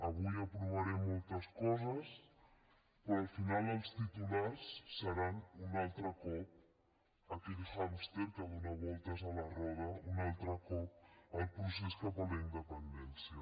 avui aprovarem moltes coses però al final els titulars seran un altre cop aquell hàmster que dóna voltes a la roda un altre cop el procés cap a la independència